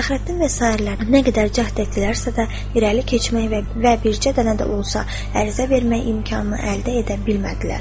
Fəxrəddin və sairələrin nə qədər cəhd etdilərsə də, irəli keçmək və bircə dənə də olsa ərizə vermək imkanını əldə edə bilmədilər.